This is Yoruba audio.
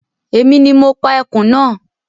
Èmi ni mo pa ẹkùn náà